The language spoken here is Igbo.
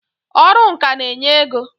Ọrụ ǹkà n'enye ego